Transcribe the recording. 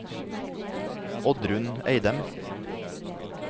Oddrun Eidem